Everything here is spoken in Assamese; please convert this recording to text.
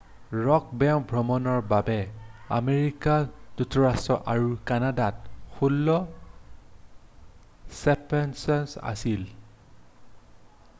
ৰ'ক বেণ্ড ভ্ৰমণৰ বাবে আমেৰিকা যুক্তৰাষ্ট্ৰ আৰু কানাডাত 16 ছেপ্টেম্বৰলৈকে আছিল